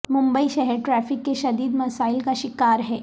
ممبئی شہر ٹریفک کے شدید مسائل کا شکار ہے